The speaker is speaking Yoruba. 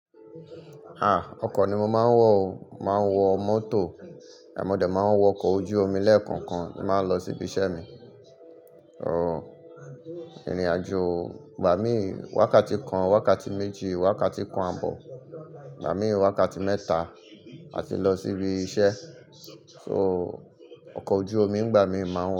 Ha! Ọkọ̀ ni mo máa ń wọ̀ o, màá ń wọ mọ́tò, mọ́ dẹ̀ máa ń wọ ọkọ̀ ojú omi lẹ́ẹ̀kọ̀kan tí ba an lọ síbi iṣẹ́ mi. Ooo, ìrìnàjò gbà mí wákàtí kan, wákàtí méjì, wákàtí kan ààbọ̀ gbà mí wákàtí mẹ́ta a ti lọ síbi iṣẹ́. So, ọkọ̀ ojú omi gbà mí máa ń wọ̀